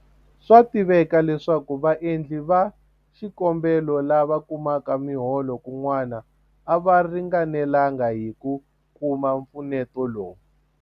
Swa tiveka leswaku vaendli va xikombelo lava kumaka miholo kun'wana a va ringanelanga hi ku kuma mpfuneto lowu.